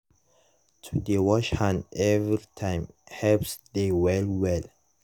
to dey wash hand everytime helps dey well well.